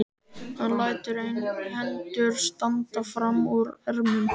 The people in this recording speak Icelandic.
Hann lætur hendur standa fram úr ermum.